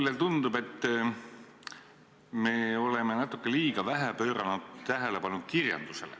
Mulle tundub, et me oleme natuke liiga vähe pööranud tähelepanu kirjandusele.